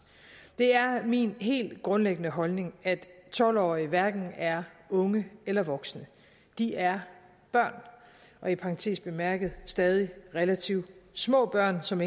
det er min helt grundlæggende holdning at tolv årige hverken er unge eller voksne de er børn og i parentes bemærket stadig relativt små børn som